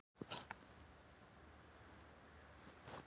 Ég var að hella upp á.